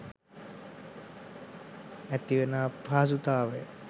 ඇතිවෙන අපහසුතාවය